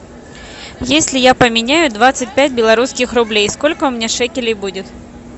если я поменяю двадцать пять белорусских рублей сколько у меня шекелей будет